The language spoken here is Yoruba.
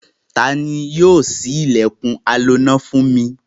Ta ni yóò ṣí ilẹ̀kùn aloná fún mi?